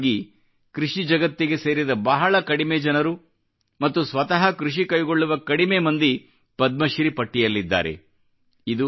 ಸಾಮಾನ್ಯವಾಗಿ ಕೃಷಿ ಜಗತ್ತಿಗೆ ಸೇರಿದ ಬಹಳ ಕಡಿಮೆ ಜನರು ಮತ್ತು ಸ್ವತಃ ಕೃಷಿ ಕೈಗೊಳ್ಳುವ ಕಡಿಮೆ ಮಂದಿ ಪದ್ಮಶ್ರೀ ಪಟ್ಟಿಯಲ್ಲಿದ್ದಾರೆ